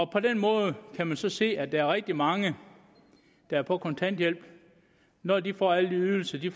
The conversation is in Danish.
på den måde kan man så se at der er rigtig mange der er på kontanthjælp og når de får alle de ydelser de